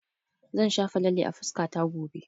Zan shafa lalle a fuskata gobe